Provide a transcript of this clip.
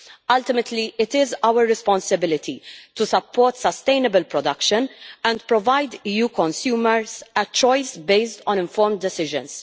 Ultimately, it is our responsibility to support sustainable production and provide EU consumers with a choice based on informed decisions.